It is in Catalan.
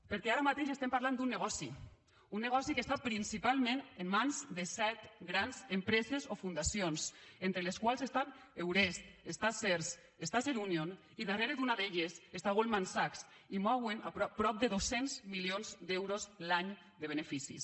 perquè ara mateix estem parlant d’un negoci un negoci que està principalment en mans de set grans empreses o fundacions entre les quals està eurest està serhs està serunion i darrere d’una d’elles està goldman sachs i mouen prop de dos cents milions d’euros l’any de beneficis